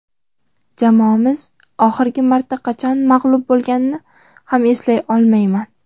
jamoamiz oxirgi marta qachon mag‘lub bo‘lganini ham eslay olmayman;.